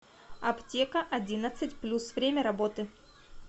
аптека одиннадцать плюс время работы